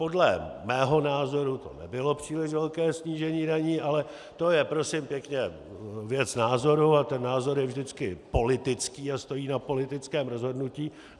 Podle mého názoru to nebylo příliš velké snížení daní, ale to je prosím pěkně věc názoru a ten názor je vždycky politický a stojí na politickém rozhodnutí.